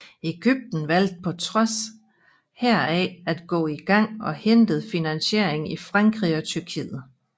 Egypten valgte på trods heraf at gå i gang og hentede finansiering i Frankrig og Tyrkiet